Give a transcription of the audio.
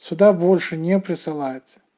сюда больше не присылает